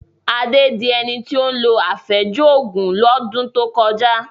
Adé di ẹni tí ó lo àfẹ́jù Ògùn lọ́dún tó kọjá